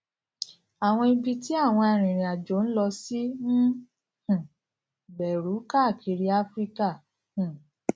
àwọn ibi tí àwọn arìnrìnàjò ń lọ sí ń um gbèrú káàkiri áfíríkà um